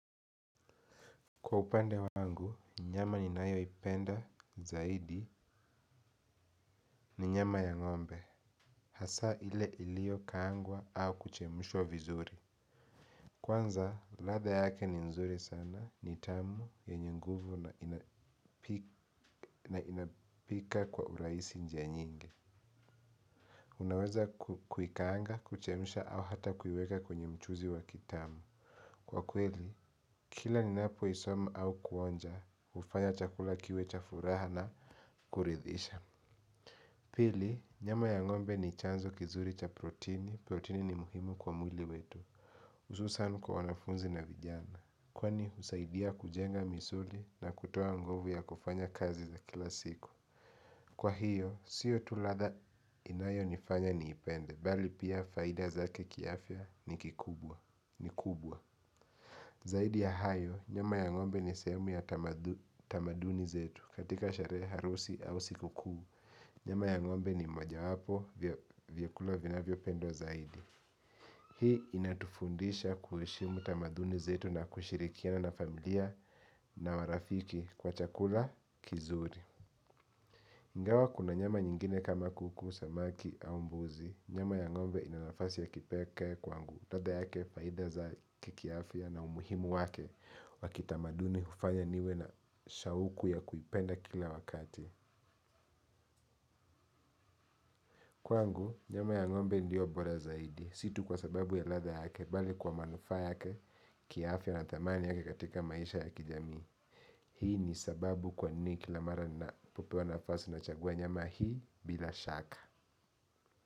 Kwa upande wangu, nyama ninayo ipenda zaidi ni nyama ya ng'ombe hasa ile iliyokaangwa au kuchemshwa vizuri kwanza, ladha yake ni nzuri sana ni tamu yenye nguvu na inapika kwa urahisi njia nyingi unaweza kuikaanga, kuchemsha au hata kuiweka kwenye mchuzi wa kitamu kwa kweli, kila ninapoisoma au kuonja, hufanya chakula kiwe cha furaha na kuridhisha pili, nyama ya ngombe ni chanzo kizuri cha protini. Protini ni muhimu kwa mwili wetu. Hususan kwa wanafunzi na vijana. Kwa ni husaidia kujenga misuli na kutoa nguvu ya kufanya kazi za kila siku. Kwa hiyo, siyo tu ladha inayonifanya niipende. Mbali pia faida zake kiafya ni kikubwa. Ni kubwa, zaidi ya hayo, nyama ya ngombe ni sehemu ya tamaduni zetu katika sherehe harusi au siku kuu nyama ya ngombe ni mojawapo vyakula vinavyopendwa zaidi hii inatufundisha kuheshimu tamaduni zetu na kushirikiana na familia na marafiki kwa chakula kizuri ingawa kuna nyama nyingine kama kuku, samaki au mbuzi nyama ya ngombe ina nafasi ya kipekee kwangu, ladha yake faida za kiafya na umuhimu wake wa kitamaduni hufanya niwe na shauku ya kuipenda kila wakati. Kwangu, nyama ya ngombe ndiyo bora zaidi. Situ kwa sababu ya ladha yake, mbali kwa manufaa yake, kiafya na thamani yake katika maisha ya kijamii. Hii ni sababu kwa nini kila mara ninapopewa nafasi nachagua nyama hii bila shaka.